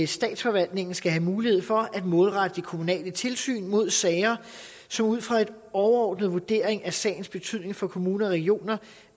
statsforvaltningen skal have mulighed for at målrette det kommunale tilsyn mod sager som ud fra en overordnet vurdering af sagens betydning for kommuner og regioner